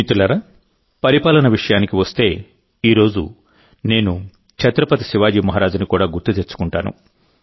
మిత్రులారాపరిపాలన విషయానికి వస్తేఈ రోజు నేను ఛత్రపతి శివాజీ మహారాజ్ని కూడా గుర్తు తెచ్చుకుంటాను